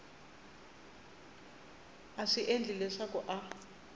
a swi endla leswaku a